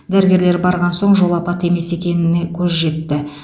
дәрігерлер барған соң жол апаты емес екеніне көз жетті